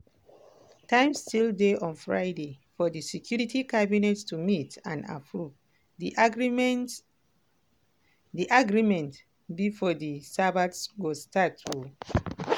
time still dey on friday for di security cabinet to meet and approve di agreement di agreement bifor di sabbath go start.